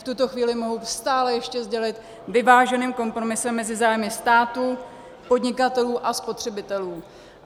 V tuto chvíli mohu stále ještě sdělit, vyváženým kompromisem mezi zájmy státu, podnikatelů a spotřebitelů.